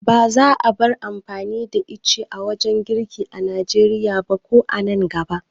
Ba za a bar amfani da ice wurin girki a Nigeria ba ko a nan gaba.